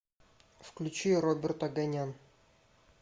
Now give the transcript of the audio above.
включи роберт оганян